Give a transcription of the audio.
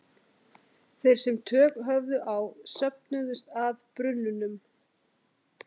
Þeir sem tök höfðu á söfnuðust að brunnunum.